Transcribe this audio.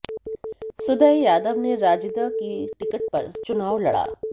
सुदय यादव ने राजद की टिकट पर चुनाव लड़ा